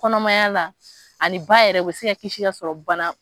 Kɔnɔmaya la ani ba yɛrɛ o bɛ se ka kisi ka sɔrɔ bana.